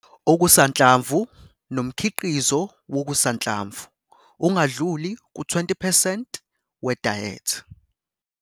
Okusanhlamvu nomkhiqizo wokusanhlamvu ungadluli ku-20 percent we dayethi